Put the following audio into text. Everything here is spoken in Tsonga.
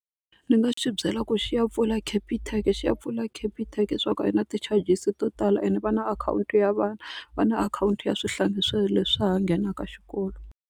Ni nga xi byela ku xi ya pfula Capitec xi ya pfula Capitec leswaku a yi na ti-charges to tala and va na akhawunti ya vana va na akhawunti ya swihlangi leswi ha nghenaka xikolo.